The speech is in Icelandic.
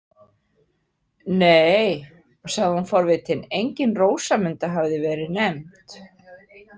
Nei, sagði hún forvitin, engin Rósamunda hafði verið nefnd.